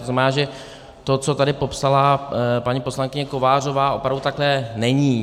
To znamená, že to, co tady popsala paní poslankyně Kovářová, opravdu takhle není.